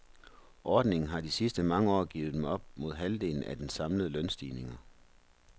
Ordningen har de sidste mange år givet dem op mod halvdelen af de samlede lønstigninger.